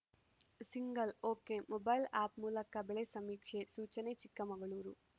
single okay mobile app ಮೂಲಕ ಬೆಳೆ ಸಮೀಕ್ಷೆ ಸೂಚನೆ ಚಿಕ್ಕಮಗಳೂರು